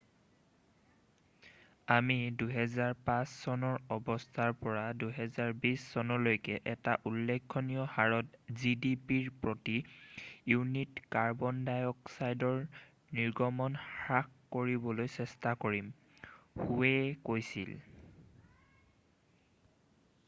"""আমি ২০০৫চনৰ অৱস্থাৰ পৰা ২০২০চনলৈকে এটা উল্লেখনীয় হাৰত gdpৰ প্ৰতি ইউনিটত কাৰ্বন ডাইঅক্সাইডৰ নিৰ্গমন হ্ৰাস কৰিবলৈ চেষ্টা কৰিম," হোৱে কৈছিল।""